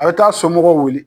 A bɛ taa somɔgɔw wele.